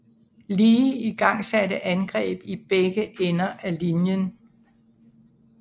Lee igangsatte angreb i begge ender af linjen